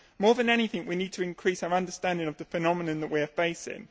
More than anything we need to increase our understanding of the phenomenon that we are facing.